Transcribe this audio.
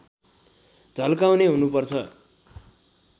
झल्काउने हुनुपर्छ